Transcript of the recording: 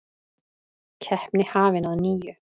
Keppni hafin að nýju